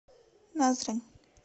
назрань